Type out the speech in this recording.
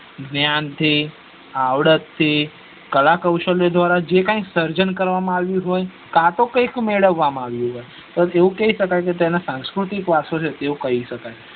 જ્ઞાન થી આવડત થી કલા કૌસ્લાય દ્વારા જે કઇ સર્જન કરવામાં આવ્યું હોય કાતો કઇ મેળવામાં આવ્યું હોય તો તેવું કી સકાય કે તે સાંસ્કૃતિક વરસો છે તેવું કઇ સકાય